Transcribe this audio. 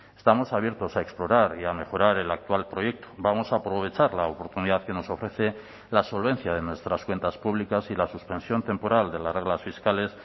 estamos abiertos a explorar y a mejorar el actual proyecto vamos a aprovechar la oportunidad que nos ofrece la solvencia de nuestras cuentas públicas y la suspensión temporal de las reglas fiscales